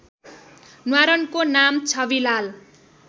न्वारानको नाम छविलाल